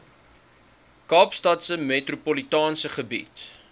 kaapstadse metropolitaanse gebied